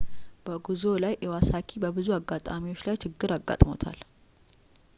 በጉዞው ላይ ኢዋሳኪ በብዙ አጋጣሚዎች ላይ ችግር አጋጥሞታል